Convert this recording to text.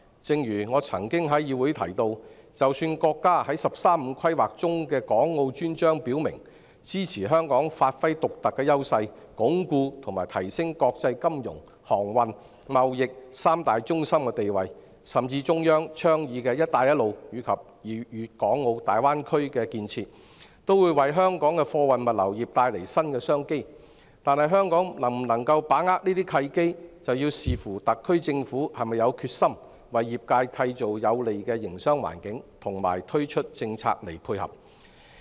正如我曾在議會提到，即使國家在"十三五"規劃中的《港澳專章》表明支持香港發揮獨特的優勢，鞏固和提升國際金融、航運、貿易三大中心的地位，甚至中央倡議的"一帶一路"及粵港澳大灣區的建設都會為香港的貨運物流業帶來新商機，但香港能否把握這些契機，便視乎特區政府是否有決心為業界締造有利的營商環境和推出政策配合。